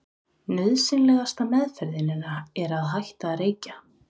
Nauðsynlegasta meðferðin er að hætta að reykja.